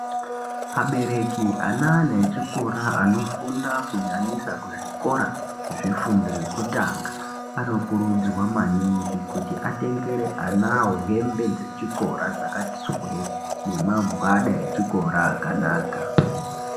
Abereki ane ana echikora anofunda kunyanyisa anofunda zvikora zvefundo yekutanga, anokurudzirwa maningi kuti atengere anawo hembe dzechikora dzakati swee nemagwada echikora akanaka.